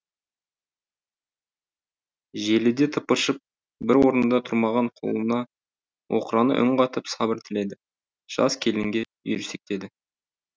желіде тыпыршып бір орнында тұрмаған құлынына оқырана үн қатып сабыр тіледі жас келінге үйірсектеді